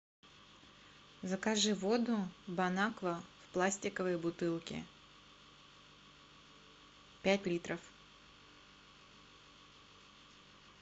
закажи воду бонаква в пластиковой бутылке пять литров